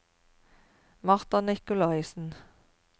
Martha Nicolaysen